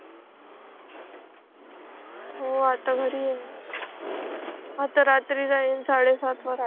हो आता घरी आहे आता रात्री जाईल साडे सात वाजता